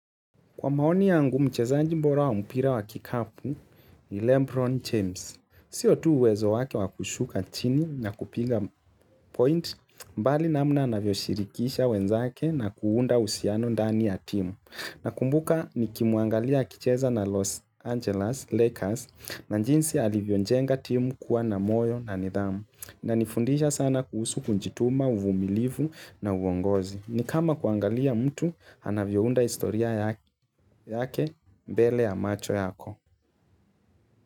Kwa maoni yangu, mchezaji bora wa mpira wa kikapu ni Lebron James. Sio tu uwezo wake wa kushuka chini na kupiga point, bali namna anavyoshirikisha wenzake na kuunda uhusiano ndani ya timu. Nakumbuka nikimwangalia akicheza na Los Angeles Lakers na jinsi alivyojenga timu kuwa na moyo na nidhamu. Inanifundisha sana kuhusu kujituma, uvumilivu na uongozi. Ni kama kuangalia mtu, anavyounda historia yake mbele ya macho yako.